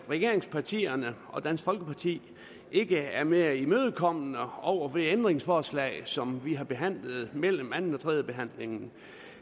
regeringspartierne og dansk folkeparti ikke er mere imødekommende over for det ændringsforslag som vi har behandlet mellem anden og tredjebehandlingen